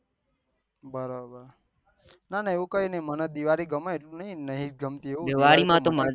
ના ના એવું કાઈ નહી મને દિવાળી ગમે એવો નહી મને નથી ગમતું